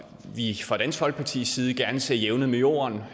vi fra dansk folkepartis side gerne ser jævnet med jorden